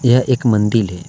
यह एक मंदिल है।